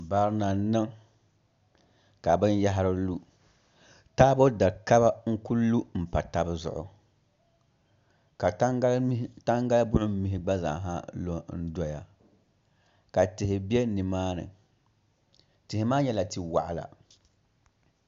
Barina n niŋ ka binyahari lu taabo da kaba n ku lu n pa tabi zuɣu ka tangali buɣum mihi gba zaaha lu n doya ka tihi bɛ nimaani tihi maa nyɛla tia waɣala